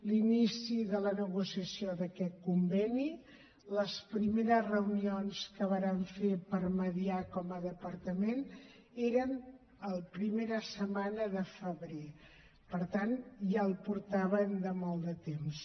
l’inici de la negociació d’aquest conveni les primeres reunions que vàrem fer per mitjançar com a departament eren a la primera setmana de febrer per tant ja el portaven de fa molt de temps